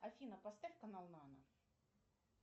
афина поставь канал нано